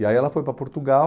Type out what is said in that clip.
E aí ela foi para Portugal,